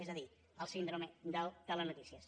és a dir la síndrome del telenotícies